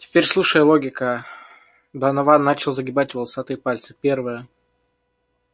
теперь слушай логика донован начал загибать волосатые пальцы первое